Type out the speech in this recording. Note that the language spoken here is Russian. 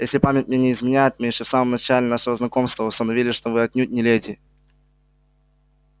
если память мне не изменяет мы ещё в самом начале нашего знакомства установили что вы отнюдь не леди